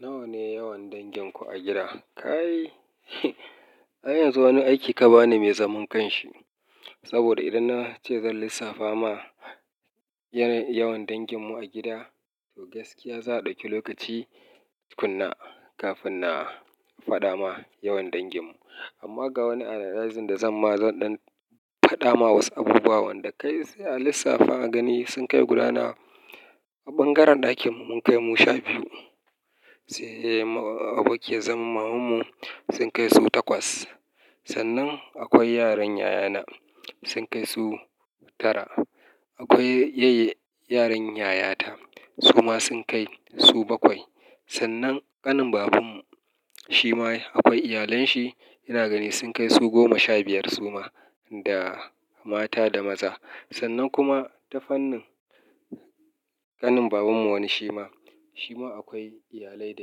Nawa ne yawan danginku a gida? Kai ai yanzu wani aiki ka bani mai zaman kanshi. Saboda idan na ce zan lissafa ma yana yawan danginmu a gida, to gaskiya za a ɗauki lokaci tukuna kafin na faɗa ma yawan danginmu. Amma ga wani analyzin da zan ma zan dan faɗa ma wasu abubuwan wanda kai sai a lissafa a gani. Sun kai gudana a ɓangaren ɗakin mun kai mu sha biyu, sai abokiya zan mamun mu sun kai su takwas. Sannan akwai yaran yayana sun kai su tara. Akwai yay-yaran yayata su ma sun kai su bakwai. Sannan ƙanin babanmu shi ma akwai iyalanshi ina gani sun kai su goma sha biyar su ma da mata da maza. Sannan kuma ta fannin ƙanin babanmu wani shi ma, shi ma akwai iyalai da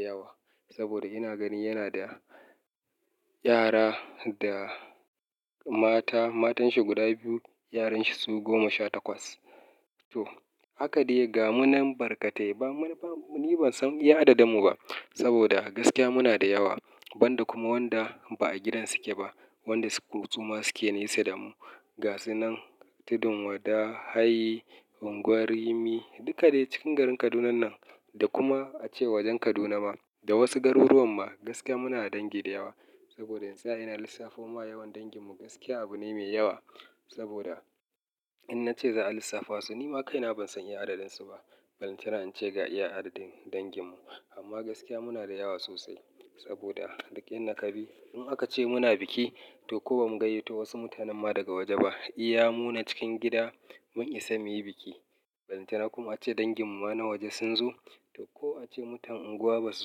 yawa. Saboda ina gani yana da yara da mata, matan shi guda biyu, yaran shi su goma sha takwas. To haka dai ga munan barkatai ba ni ban san iya adadimmu ba. Saboda gaskiya muna da yawa, banda kuma wanda ba a gidan su ke ba, wanda su suma suke nesa da mu. Ga su nan Tudun Wada, Hayi, Unguwar Rimi duka dai cikin garin Kaduna nan. Da kuma ace wajen Kaduna ma da wasu garuruwan ma gaskiya muna da dangi da yawa. Saboda in tsaya ina lissafo ma yawan danginmu gaskiya abu ne mai yawa. Saboda in na ce za a lissafa su ni ma kaina ban san iya adadin su ba. Balantana in ce ga iya adadin danginmu. Amma gaskiya muna da yawa sosai saboda duk inda kabi. In aka ce muna biki to ko ba mu gayyato wasu mutanen ma daga waje ba, iya mu na cikin gida mun isa muyi biki. Balantana kuma ace danginmu ma na waje sun zo, to ko ace mutan unguwa ba su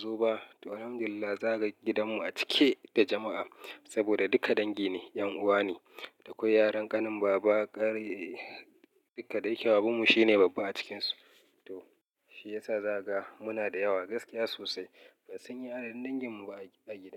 zo ba, to Alhamdulillah zaga gidanmu a cike da jama'a. Saboda duka dangi ne, 'yan uwa ne. Da akwai yaran ƙanin baba kare duka, dai ke babanmu shine babba a cikinsu. To shi yasa zaga muna da yawa gaskiya sosai. Ban san iya adadin danginmu ba a gida.